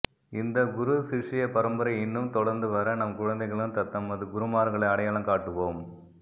இந்த குரு சிஷ்ய பரம்பரை இன்னும் தொடர்த்து வர நம் குழந்தைகளும் தத்தமது குருமார்களை அடையாளம் காட்டுவோம்